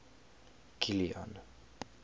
kilian